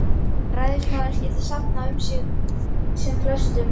Ræðismaðurinn skyldi safna um sig sem flestum